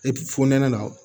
Epi fonɛnɛ la